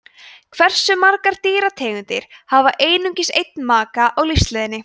hversu margar dýrategundir hafa einungis einn maka á lífsleiðinni